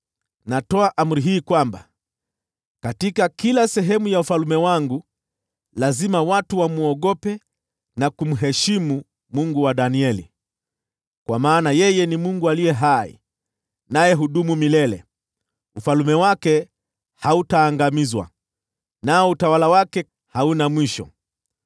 “Natoa amri hii, kwamba katika kila sehemu ya ufalme wangu, lazima watu wamwogope na kumheshimu Mungu wa Danieli. “Kwa maana yeye ni Mungu aliye hai, naye hudumu milele, ufalme wake hautaangamizwa, nao utawala wake hauna mwisho.